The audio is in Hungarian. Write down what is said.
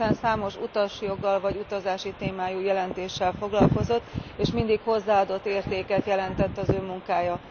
Hiszen számos, utasjoggal, vagy utazási témájú jelentéssel foglalkozott és mindig hozzáadott értéket jelentett az ő munkája.